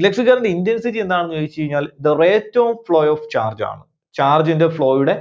electric current ന്റെ intensity എന്താണെന്ന് ചോദിച്ചു കഴിഞ്ഞാൽ the rate of flow of charge ആണ്. Charge ന്റെ flow യുടെ